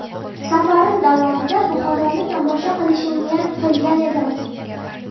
Safarim davomida Buxoroni tomosha qilishni niyat qilgan edim.